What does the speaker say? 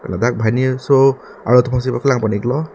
ladak banghini so arlo tum phan si paklang pon iklo.